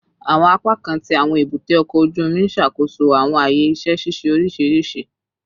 Awọn apakan ti awọn ebute oko oju omi n ṣakoso awọn aaye iṣẹ ṣiṣe oriṣiriṣi